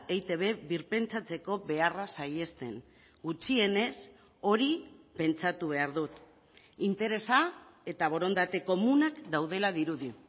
eitb birpentsatzeko beharra saihesten gutxienez hori pentsatu behar dut interesa eta borondate komunak daudela dirudi